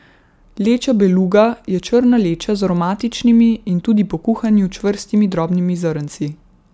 Leča beluga je črna leča z aromatičnimi in tudi po kuhanju čvrstimi drobnimi zrnci.